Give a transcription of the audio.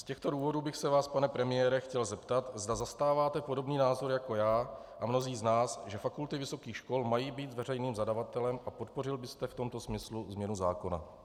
Z těchto důvodů bych se vás, pane premiére, chtěl zeptat, zda zastáváte podobný názor jako já a mnozí z nás, že fakulty vysokých škol mají být veřejným zadavatelem, a podpořil byste v tomto smyslu změnu zákona.